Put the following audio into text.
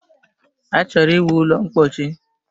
Achọrọ ịwu ụlọ ḿkpóchí